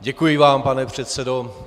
Děkuji vám, pane předsedo.